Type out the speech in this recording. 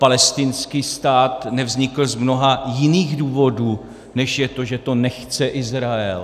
Palestinský stát nevznikl z mnoha jiných důvodů, než je to, že to nechce Izrael.